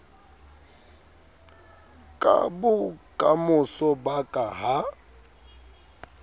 ka bokamoso ba ka ha